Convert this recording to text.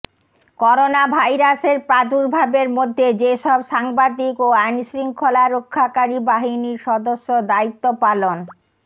করোনাভাইরাসের প্রাদুর্ভাবের মধ্যে যেসব সাংবাদিক ও আইনশৃঙ্খলা রক্ষাকারী বাহিনীর সদস্য দায়িত্ব পালন